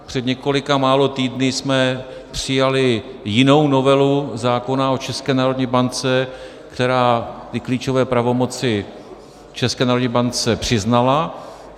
Před několika málo týdny jsme přijali jinou novelu zákona o České národní bance, která ty klíčové pravomoci České národní bance přiznala.